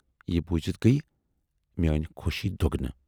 "یہِ بوٗزِتھ گٔیہِ میٲنۍ خۅشی دۅگنہٕ۔